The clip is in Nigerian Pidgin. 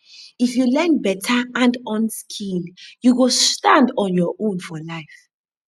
if you learn beta handon skill you go stand on your own for life